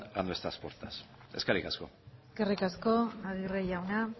a nuestras puertas eskerrik asko eskerrik asko aguirre jauna